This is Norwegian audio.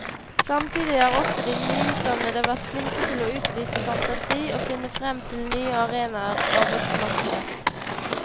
Samtidig har også de nyutdannede vært flinke til å utvise fantasi og finne frem til nye arenaer på arbeidsmarkedet.